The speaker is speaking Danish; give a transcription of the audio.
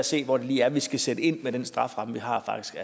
se hvor det lige er vi skal sætte ind med den strafferamme